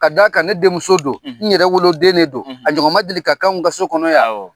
Ka d'a kan ne denmuso don n yɛrɛ wolodennen de don a ɲɔgɔn ma deli ka k 'anw ka so kɔnɔ yan awɔ